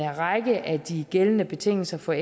række af de gældende betingelser for